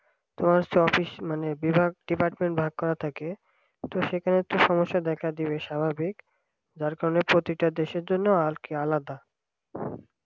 তো একটা office মানে বিভাগ department ভাগ করা থাকে তো সেখানে তো সমস্যা দেখা দিবে স্বাভাবিক যার কারণে প্রতিটা দেশের জন্য আর কি আলাদা